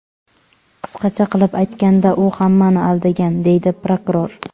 Qisqacha qilib aytganda, u hammani aldagan”, deydi prokuror.